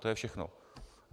To je všechno.